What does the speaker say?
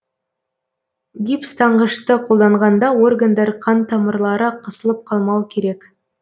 гипс таңғышты қолданғанда органдар қан тамырлары қысылып қалмау керек